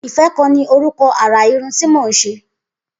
Ifẹ̀ kàn ni órùkọ̀ àrà irùn ti mó n ṣé